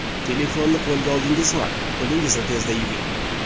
Telefonni qo‘lga oldingizmi, qo‘lingizni tezda yuving.